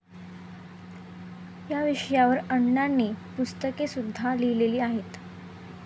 या विषयावर अण्णांनी पुस्तकेसुद्धा लिहिलेली आहेत.